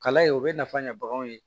Kala ye o bɛ nafa ɲɛ baganw ye